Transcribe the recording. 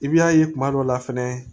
I b'a ye kuma dɔ la fɛnɛ